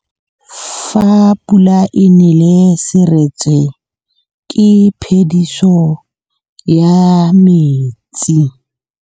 Fa pula e nelê serêtsê ke phêdisô ya metsi.